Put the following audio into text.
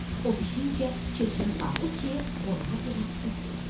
O bişincə keçini sağdı ki, qonağa biraz süd versin.